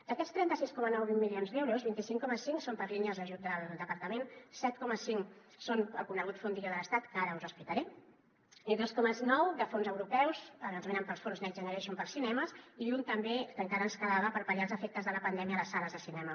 d’aquests trenta sis coma nou milions d’euros vint cinc coma cinc són per a línies d’ajut del departament set coma cinc són el conegut fondillo de l’estat que ara us explicaré i dos coma nou fons europeus ens venen pels fons next generation per als cinemes i un també que encara ens quedava per pal·liar els efectes de la pandèmia a les sales de cinema